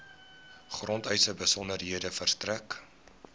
grondeise besonderhede verstrek